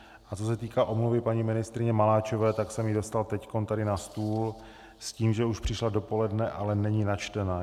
A co se týká omluvy paní ministryně Maláčové, tak jsem ji dostal teď tady na stůl s tím, že už přišla dopoledne, ale není načtena.